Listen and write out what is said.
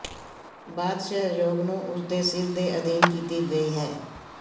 ਬਾਅਦ ਸਹਿਯੋਗ ਨੂੰ ਉਸ ਦੇ ਸਿਰ ਦੇ ਅਧੀਨ ਕੀਤੀ ਗਈ ਹੈ